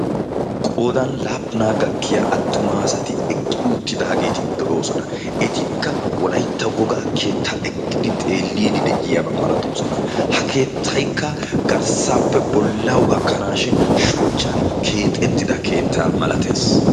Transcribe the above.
Qoodan laappunaa gakkiya attuma asati eqqi uttidaageeti de7oosona. ettikka wolaytta wogaa keettaa eqqidi xeelliidi de7iyaabaa malattoosona. ha keettaykka garssaappe bollawu gakkanaashin shuchchan keexettida keettaa malatees.